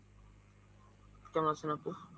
কেমন আছেন আপু?